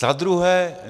Za druhé.